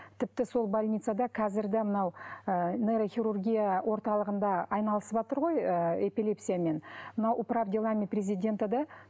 тіпті сол больницада қазір де мынау ы нейрохирургия орталығында айналысыватыр ғой ы эпилепсиямен мынау управ делами президента да